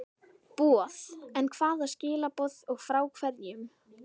boð, en hvaða skilaboð og frá hverjum?